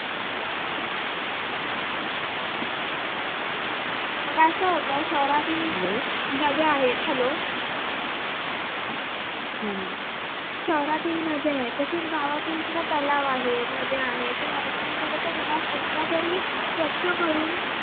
मग असं होत शहरातील नद्या आहेत hello शहरातील नद्या आहेत तसेच गावातील सुद्धा तलाव आहेत नद्या आहेत ते वर्ष म्हणजे फक्त किमान एकदा तरी स्वच्छ करून